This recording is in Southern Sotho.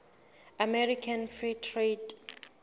american free trade